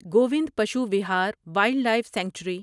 Govind Pashu Vihar wild life sanctuary